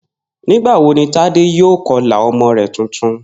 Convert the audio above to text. Nígbà wo ni Tádé yóò ko̩là o̩mo̩ rè̩ tuntun?